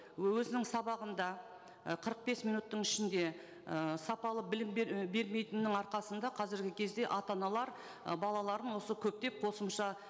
өзінің сабағында і қырық бес минуттың ішінде ы сапалы білім і бермейтінінің арқасында қазіргі кезде ата аналар ы балаларын осы көптеп қосымша